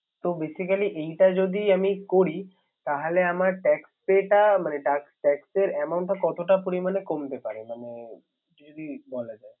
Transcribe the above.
তো Basically এইটা যদি আমি করি তাহলে আমার Tax pay টা মানে Tax amount কতটা পরিমানে কমতে পাারে। মানে যদি বলা যায়